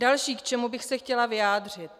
Další, k čemu bych se chtěla vyjádřit.